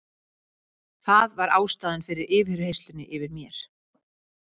Það var ástæðan fyrir yfirheyrslunni yfir mér.